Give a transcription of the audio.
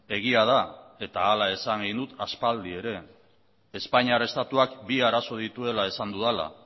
egia da eta hala esan egin dut aspaldi ere espainiar estatuak bi arazo dituela esan dudala